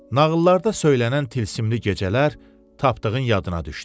Nağıllarda söylənən tilsimli gecələr Tapdığın yadına düşdü.